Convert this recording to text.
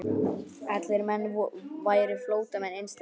Allir menn væru flóttamenn innst inni.